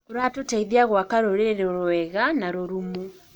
ũrateithia gwaka rũrĩrĩ rwega na rũrũmu.